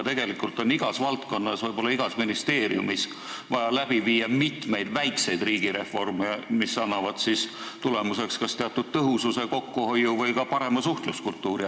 Tegelikult on igas valdkonnas, võib-olla igas ministeeriumis, vaja läbi viia mitmeid väikseid riigireforme, mis annaksid tulemuseks kas teatud tõhususe, kokkuhoiu või ka parema suhtluskultuuri.